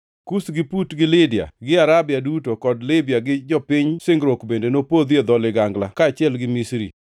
Kush gi Put, gi Lidia gi Arabia duto; kod Libya gi jopiny singruok bende nopodhi e dho ligangla kaachiel gi Misri.